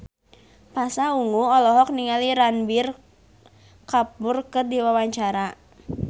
Pasha Ungu olohok ningali Ranbir Kapoor keur diwawancara